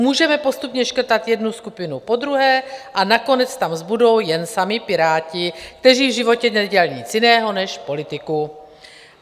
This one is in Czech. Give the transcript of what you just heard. Můžeme postupně škrtat jednu skupinu po druhé a nakonec tam zbudou jen sami Piráti, kteří v životě nedělali nic jiného než politiku.